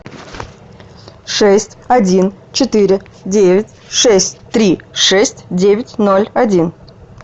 шесть один четыре девять шесть три шесть девять ноль один